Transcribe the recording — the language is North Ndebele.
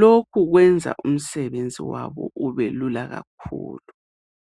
Lokhu kwenza umsebenzi wabo ubelula kakhulu.